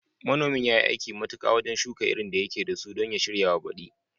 Manomin yayi aiki matuka wajen shuka irin da yake dasu don ya shiryawa baďi